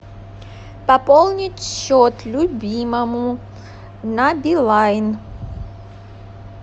пополнить счет любимому на билайн